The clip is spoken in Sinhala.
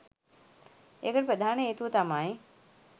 එකට ප්‍රධාන හේතුව තමයි